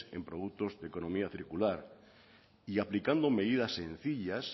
en productos de economía circular y aplicando medidas sencillas